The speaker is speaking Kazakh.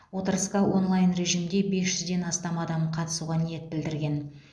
отырысқа онлайн режимде бес жүзден астам адам қатысуға ниет білдірген